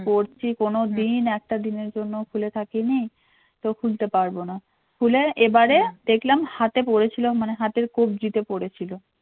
পড়ছি কোনোদিন একটা দিনের জন্যও খুলে থাকিনি তো খুলতে পারবো না খুলে এবারে দেখলাম হাতে পড়েছিল মানে হাতের কব্জিতে পড়ে ছিল